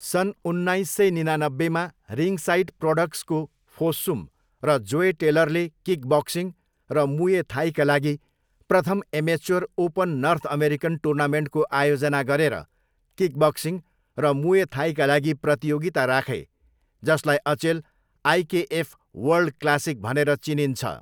सन् उन्नाइस सय निनानब्बेमा रिङसाइड प्रोडक्सको फोस्सुम र जोय टेलरले किकबक्सिङ र मुए थाईका लागि प्रथम एमेच्योर ओपन नर्थ अमेरिकन टुर्नामेन्टको आयोजना गरेर किकबक्सिङ र मुए थाईका लागि प्रतियोगिता राखे जसलाई अचेल आइकेएफ वर्ल्ड क्लासिक भनेर चिनिन्छ।